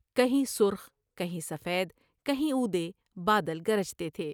کہیں سرخ کہیں سفید ، کہیں اودے ، بادل گرجتے تھے ۔